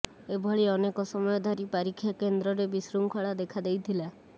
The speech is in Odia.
ଏଭଳି ଅନେକ ସମୟ ଧରି ପାରୀକ୍ଷା କେନ୍ଦ୍ରରେ ବିଶୃଙ୍ଖଳା ଦେଖାଦେଇଥିଲା